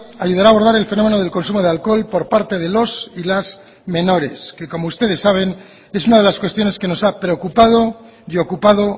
ayudará a abordar el fenómeno del consumo de alcohol por parte de los y las menores que como ustedes saben es una de las cuestiones que nos ha preocupado y ocupado